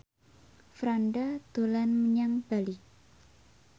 Franda dolan menyang Bali